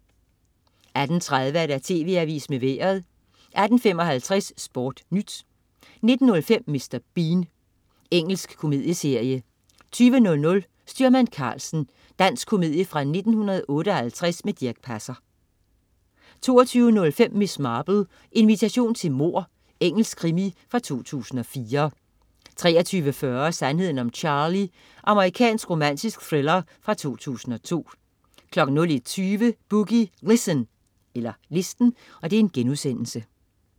18.30 TV Avisen med Vejret 18.55 SportNyt 19.05 Mr. Bean. Engelsk komedieserie 20.00 Styrmand Karlsen. Dansk komedie fra 1958 med Dirch Passer 22.05 Miss Marple: Invitation til mord. Engelsk krimi fra 2004 23.40 Sandheden om Charlie. Amerikansk romantisk thriller fra 2002 01.20 Boogie Listen*